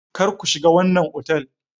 Kar ku shiga wannan otal!